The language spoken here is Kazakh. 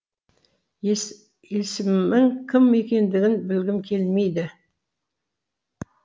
есімің кім екендігін білгім келмейді